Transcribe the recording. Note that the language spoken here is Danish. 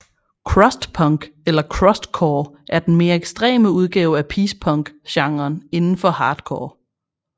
Crust punk eller Crustcore er den mere ekstreme udgave af peace punk genren indenfor hardcore